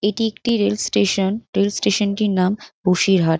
এটি একটি rail station. Rail স্টেশানটির নাম বসিরহাট।